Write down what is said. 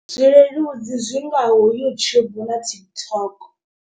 Zwileludzi zwi ngaho YouTube na TikTok.